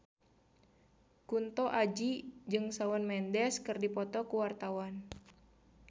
Kunto Aji jeung Shawn Mendes keur dipoto ku wartawan